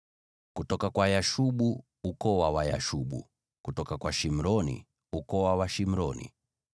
kutoka kwa Yashubu, ukoo wa Wayashubu; kutoka kwa Shimroni, ukoo wa Washimroni.